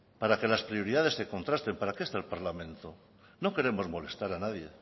para que las prioridades se contrasten para qué está el parlamento no queremos molestar a nadie